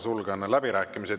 Sulgen läbirääkimised.